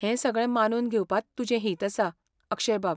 हें सगळें मानून घेवपांत तुजें हित आसा, अक्षयबाब .